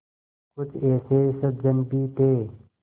कुछ ऐसे सज्जन भी थे